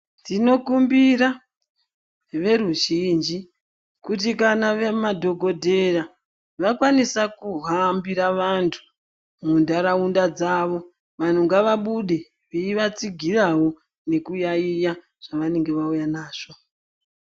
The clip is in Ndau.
Tinokumbira veruzhinji kuti kana madhogodheya vakwanisa kuhambira vantu mundaraunda dzavo, vanhu ngavabude, nekuvatsigirawo nekuyaiya zvavanenge vauya nazvo.